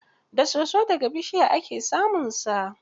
Da soso da ga bishiya ake samunsa.